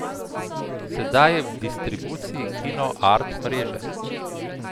Sedaj je v distribuciji kino art mreže.